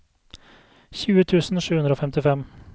tjue tusen sju hundre og femtifem